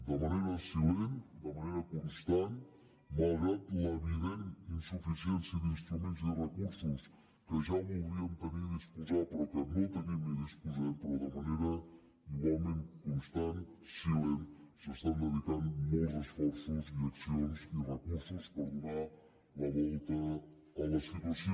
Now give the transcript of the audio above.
de manera silent de manera constant malgrat l’evident insuficiència d’instruments i recursos que ja voldríem tenir i disposar però que no tenim ni disposem però de manera igualment constant silent s’estan dedicant molts esforços i accions i recursos per donar la volta a la situació